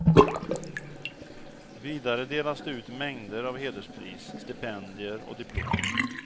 Vidare delas det ut mängder av hederspris, stipendier och diplom.